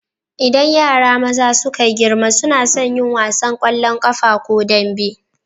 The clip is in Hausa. Idan yara maza suka girma suna sun yin wasan ƙwallon ƙafa ko dambe.